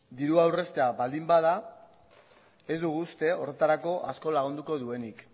dirua aurreztea baldin bada ez dugu uste horretarako asko lagunduko duenik